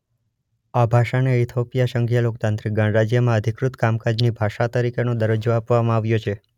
આ ભાષાને ઇથોપિયા સંઘીય લોકતાંત્રિક ગણરાજ્યમાં અધિકૃત કામકાજની ભાષા તરીકેનો દરજ્જો આપવામાં આવ્યો છે.